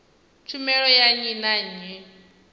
tshumelo ya nnyi na nnyi